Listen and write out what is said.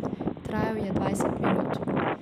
Trajal je dvajset minut.